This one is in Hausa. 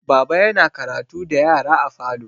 Baba yana karatu da yara a falo.